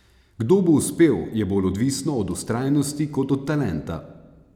Kdo bo uspel, je bolj odvisno od vztrajnosti kot od talenta!